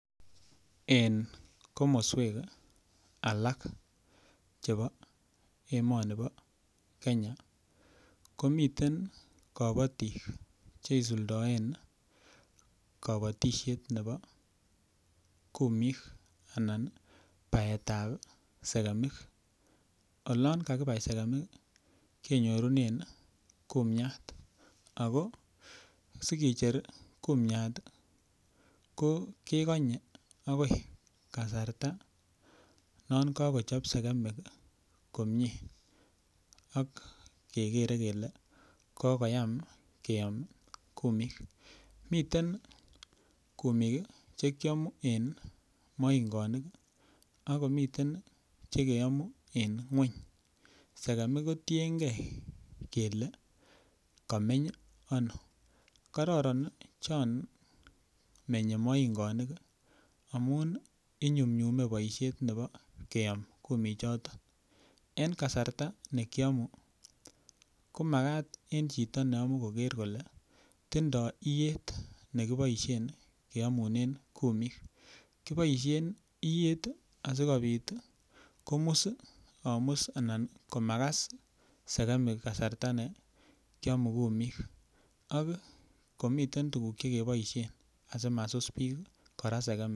En komoswek alak chebo emoni bo Kenya komiten kobotik cheisuldaen kobotishet nebo kumik anan paet ap sekemik olon kakipai sekemik kenyorunen kumiat ako sike cher kumiat ko kekonyei akoi kasarta non kakochop sekemik komie ak kekerer kele kokoyam keyom kumik miten kumik chekiamu en moingonik akomiten chekeamu eng ng'weny sekemik kotienkei kele kameny ano kororon chon menyei moingonik amun inyumnyume boishet nebo keom kumik choton en kasarta nekiamun komakat en chito neamu koker kole tindoi iyet nekiaboishen keamune kenemu kumik kiboishen iyet asikobit komus ana komakas sikemik kasarta nekiamun kumik ak koniton tukuk chekeboishen asimasus biik kora sekemik